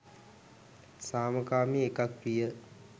සාමකාමී එකක් විය.